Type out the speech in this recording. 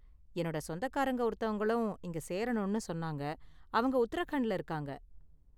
என்னோட சொந்தக்காரங்க ஒருத்தவங்களும் இங்க சேரணும்னு சொன்னாங்க, அவங்க உத்தரகண்ட்ல இருக்காங்க.